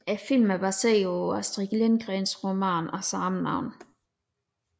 Filmen er baseret på Astrid Lindgrens roman af samme navn